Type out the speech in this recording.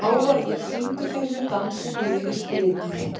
Hávarður, syngdu fyrir mig „Dansinn lifir stritið“.